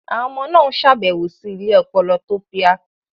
Àwọn ọmọ náà ń ṣàbẹ̀wò sí ilé ọpọlọ tofya.